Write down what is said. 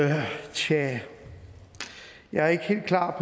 tja jeg er ikke helt klar